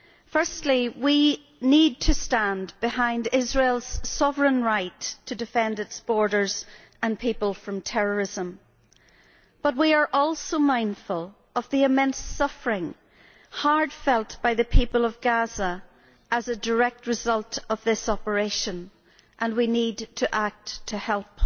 Firstly, we need to stand behind Israel's sovereign right to defend its borders and people from terrorism, but we are also mindful of the immense suffering hard felt by the people of Gaza as a direct result of this operation and we need to act to help.